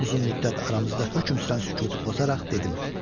Uzun müddət aramızda hökm sürən sükutu pozaraq dedim.